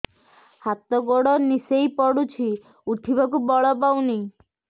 ହାତ ଗୋଡ ନିସେଇ ପଡୁଛି ଉଠିବାକୁ ବଳ ପାଉନି